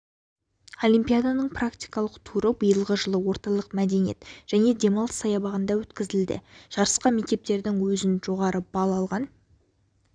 олимпиаданың практикалық туры биылғы жылы орталық мәдениет және демалыс саябағында өткізілді жарысқа мектептердің жоғары бал алған